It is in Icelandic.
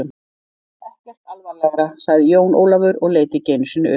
Ekkert alvarlega, sagði Jón Ólafur og leit ekki einu sinni upp.